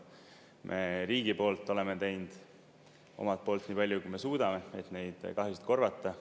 Me riigi poolt oleme teinud omalt poolt nii palju, kui me suudame, et neid kahjusid korvata.